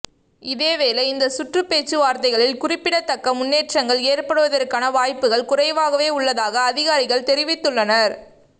இதேவேளை இந்த சுற்றுப்பேச்சுவார்த்தைகளில் குறிப்பிடத்தக்க முன்னேற்றங்கள் ஏற்படுவதற்கான வாய்ப்புகள் குறைவாகவே உள்ளதாக அதிகாரிகள் தெரிவித்துள்ளனர்